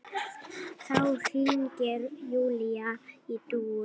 Þá hringir Júlía í Dúu.